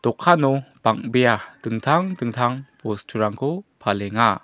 dokano bang·bea dingtang dingtang bosturangko palenga.